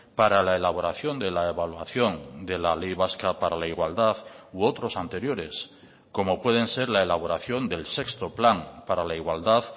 para la elaboración de la evaluación de la ley vasca para la igualdad u otros anteriores como pueden ser la elaboración del sexto plan para la igualdad